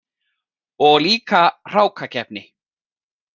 Og líka hrákakeppni.